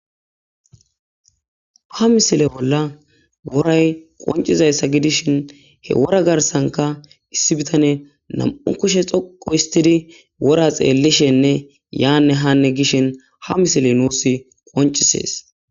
ha misile bolla woray qoncizayssa gidishin he wora garsanka issi bitane nam7u kushe xoqo istidi wora xeellishenne yaanne haanne gishin ha misile nuus qoncisees